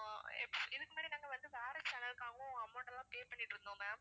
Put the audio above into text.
yes இதுக்கு முன்னாடி நாங்க வந்து வேற channel க்காகவும் amount எல்லாம் pay பண்ணிட்டு இருந்தோம் ma'am